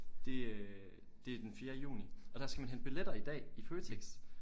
Det øh det den fjerde juni og der skal man hente billetter i dag i Føtex